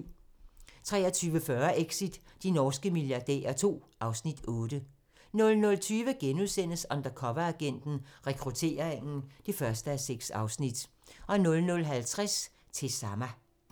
23:40: Exit – de norske milliardærer II (Afs. 8) 00:20: Undercoveragenten - Rekrutteringen (1:6)* 00:50: Til Sama